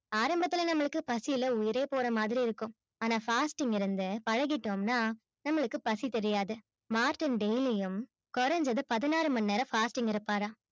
ஆரம்பத்துல நமக்கு பசில உயிரே போறமாதிரி இருக்கும் ஆனா fasting இருந்து பழகிட்டோம் னா நம்மளுக்கு பசி தெரியாது. மார்டின் daily யும் கொறஞ்சது பதினாறும நேரம் fasting இருப்பாரா